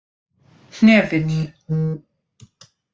Hnefill